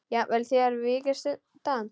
Jafnvel þér víkist undan!